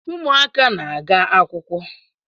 Ụmụaka na-aga akwụkwọ